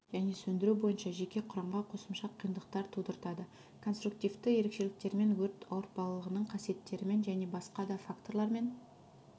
және сөндіру бойынша жеке құрамға қосымша қиындықтар тудыртады конструктивты ерекшеліктерімен өрт ауыртпалығының қасиеттерімен және басқа да факторлармен